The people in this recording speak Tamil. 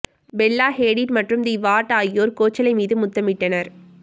பெல்லா ஹேடிட் மற்றும் தி வார்ட் ஆகியோர் கோச்சலே மீது முத்தமிட்டனர்